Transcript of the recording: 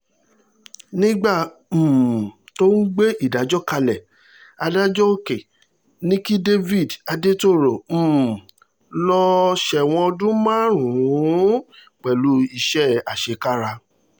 nígbà um tó ń gbé ìdájọ́ kalẹ̀ adájọ́ òkè ní kí david adetoro um lọ́ọ́ sẹ́wọ̀n ọdún márùn-ún pẹ̀lú iṣẹ́ àṣekára